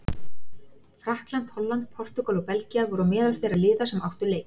Frakkland, Holland, Portúgal og Belgía voru á meðal þeirra liða sem áttu leik.